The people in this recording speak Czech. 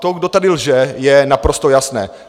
To, kdo tady lže, je naprosto jasné.